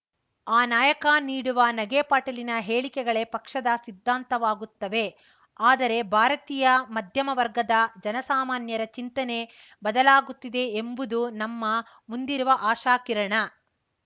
ಆ ನಾಯಕ ನೀಡುವ ನಗೆಪಾಟಲಿನ ಹೇಳಿಕೆಗಳೇ ಪಕ್ಷದ ಸಿದ್ಧಾಂತವಾಗುತ್ತವೆ ಆದರೆ ಭಾರತೀಯ ಮಧ್ಯಮ ವರ್ಗದ ಜನಸಾಮಾನ್ಯರ ಚಿಂತನೆ ಬದಲಾಗುತ್ತಿದೆ ಎಂಬುದು ನಮ್ಮ ಮುಂದಿರುವ ಆಶಾಕಿರಣ